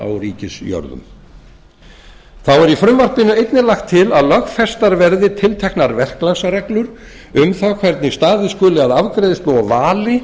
ríkisjörðum þá er í frumvarpinu einnig lagt til að lögfestar verði tilteknar verklagsreglur um það hvernig staðið skuli að afgreiðslu og vali